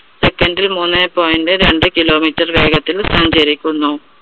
second ൽ മൂന്നേ point രണ്ട് kilometer വേഗത്തിൽ സഞ്ചരിക്കുന്നു.